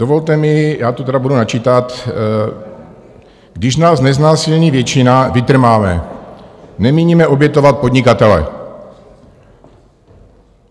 Dovolte mi, já to tedy budu načítat: "Když nás neznásilní většina, vytrváme, nemíníme obětovat podnikatele."